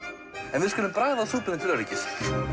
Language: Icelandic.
en við skulum bragða á súpunni til öryggis